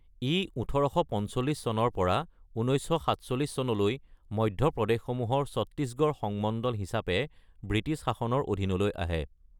ই ১৮৪৫ চনৰ পৰা ১৯৪৭ চনলৈ মধ্য প্ৰদেশসমূহৰ ছত্তীশগড় সংমণ্ডল হিচাপে ব্ৰিটিছ শাসনৰ অধীনলৈ আহে।